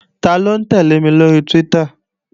Taló ń tẹ́lẹ̀ mi lóri Twitter?